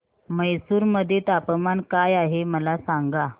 म्हैसूर मध्ये तापमान काय आहे मला सांगा